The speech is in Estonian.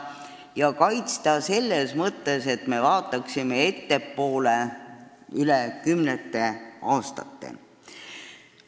Ja kaitsta selles mõttes, et me vaataksime ettepoole, kümnete aastate võrra ettepoole.